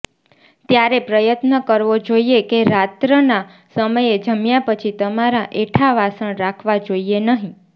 તમારે પ્રયત્ન કરવો જોઈએ કે રાત્રના સમયે જમ્યા પછી તમારા એઠા વાસણ રાખવા જોઈએ નહીં